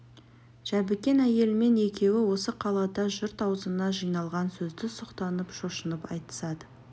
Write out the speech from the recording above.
жәбікен әйелімен екеуі осы қалада жұрт аузына жиналған сөзді сұқтанып шошынып айтысады